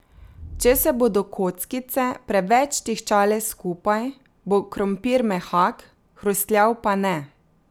Če se bodo kockice preveč tiščale skupaj, bo krompir mehak, hrustljav pa ne.